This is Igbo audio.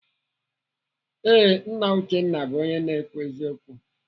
Ee, Nna Uchenna bụ onye na-ekwu eziokwu.